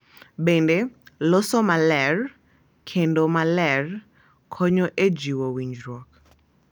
Bende, loso maler kendo maler konyo e jiwo winjruok.